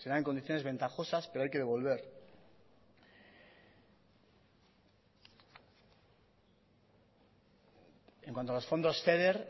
se da en condiciones ventajosas pero hay que devolver en cuando a los fondos feder